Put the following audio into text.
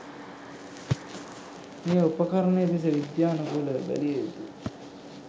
මේ උපකරණ දෙස විද්‍යනුකූලව බැලිය යුතු